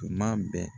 Tuma bɛɛ